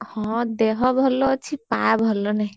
ହଁ ଦେହ ଭଲ ଅଛି smile ପା ଭଲ ନାହିଁ।